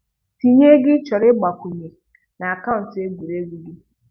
Tinye ego ịchọrọ ịgbakwunye na akaụntụ egwuregwu gị